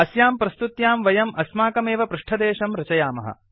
अस्यां प्रस्तुत्यां वयम् अस्माकमेव पृष्ठदेशं रचयामः